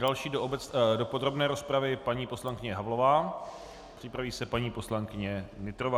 Další do podrobné rozpravy paní poslankyně Havlová, připraví se paní poslankyně Nytrová.